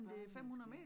Bare man skal